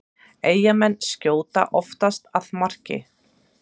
Eyjamenn skjóta oftast að marki